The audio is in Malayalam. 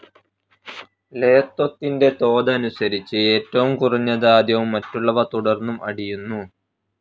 ലെയത്വത്തിൻ്റെ തോതനുസരിച്ച്, ഏറ്റവും കുറഞ്ഞത് ആദ്യവും മറ്റുള്ളവ തുടർന്നും അടിയുന്നു.